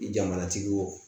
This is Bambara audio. Jamanatigiw